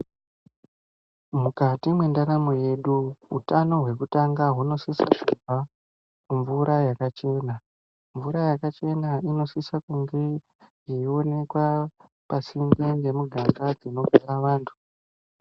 Mukati mwendaramo yedu, utano hwekutanga hunosisa kubva mumvura yakachena. Mvura yakachena inosisa kunge yeiwonekwa pasinde nemuganga dzinogara vantu.